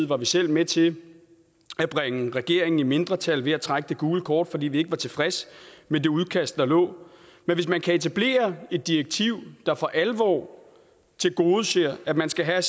var vi selv med til at bringe regeringen i mindretal ved at trække det gule kort fordi vi ikke var tilfredse med det udkast der lå men hvis vi kan etablere et direktiv der for alvor tilgodeser at man skal have